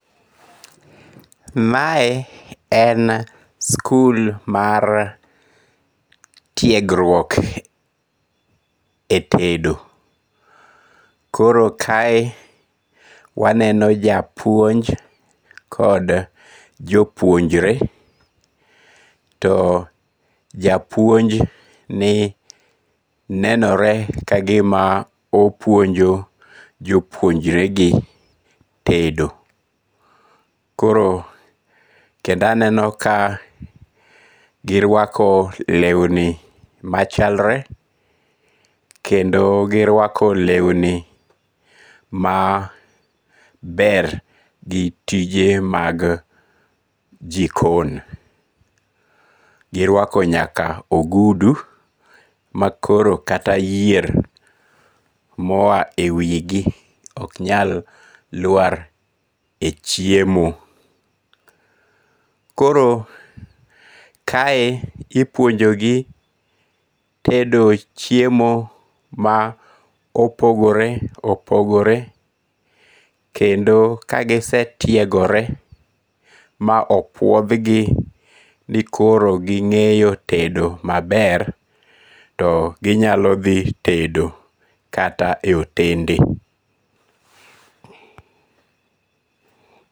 Mae en skul mar tiegruok e tedo, koro kae waneno japuonj kod jopuonjre to japuoni nenore kagima opuonjo jopuonjregi tedo, koro kendo aneno ka girwako lewni machalre, kendo girwako lewni maber gi tije mag jikon, girwako nyaka ogudu ma koro kata yier ma oya e wigi ok nyal lwar e chiemo, koro kae ipuonjogi tedo chiemo ma opogore opogore kendo ka gisetiegore ma opuothgi ni koro ginge'yo tedo maber to ginyalo thi tedo kata e otende